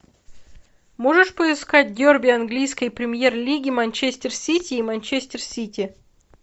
можешь поискать дерби английской премьер лиги манчестер сити и манчестер сити